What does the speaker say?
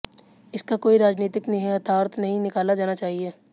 इसका कोई राजनीतिक निहितार्थ नहीं निकाला जाना चाहिए